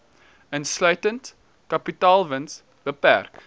insluitend kapitaalwins beperk